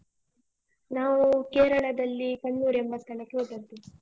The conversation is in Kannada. ನಾವೂ ಕೇರಳದಲ್ಲಿ ಕಣ್ಣೂರ್ ಎಂಬ ಸ್ಥಳಕ್ಕೆ ಹೋದದ್ದು.